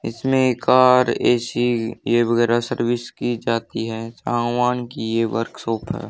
इसमे car AC ये वगेरा सर्विस की जाती है सावन की ये वर्कशॉप है।